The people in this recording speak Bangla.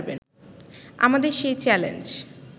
আমাদের সেই চ্যালেঞ্জ